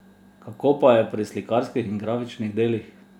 Kako pa je pri slikarskih in grafičnih delih?